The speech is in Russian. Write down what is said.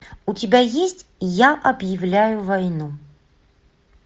у тебя есть я объявляю войну